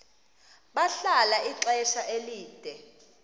bahlala ixesha elide